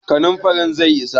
kanin farin zai isa?